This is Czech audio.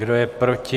Kdo je proti?